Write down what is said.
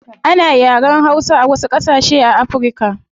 Ana yaren hausa a wasu gasashe a africa